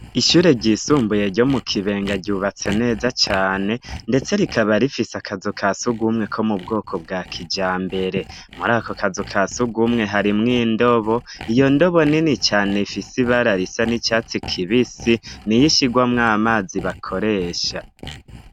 Ishure ryisumbuye ryo mu Kibenga ryubatse neza cane ndetse rikaba rifise akazu kasugumwe ko mubwoko bwa kijambere muri ako kazu kasugumwe harimwo indobo, iyo ndobo nini cane ifise ibara risa n'icatsi kibisi niyishirwamwo amazi bakoresha.